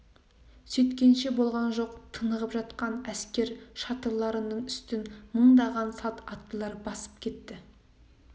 сөйткенше болған жоқ тынығып жатқан әскер шатырларының үстін мыңдаған салт аттылар басып кетті